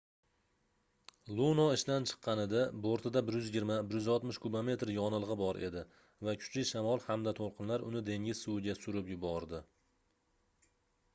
luno ishdan chiqqanida bortida 120-160 kubometr yonilgʻi bor edi va kuchli shamol hamda toʻlqinlar uni dengiz suviga surib yubordi